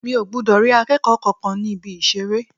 Mi ò gbọdọ̀ rí akẹ́kọ̀ọ́ kankan ní Ibi-ìṣeré.